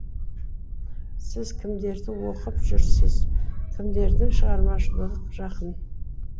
сіз кімдерді оқып жүрсіз кімдердің шығармашылығы жақын